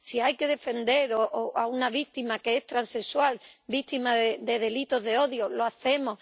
Si hay que defender a una víctima que es transexual, víctima de delitos de odio, lo hacemos.